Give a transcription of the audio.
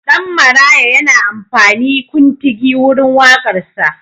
Ɗan Maraya yana amfani kuntugi wurin waƙarsa.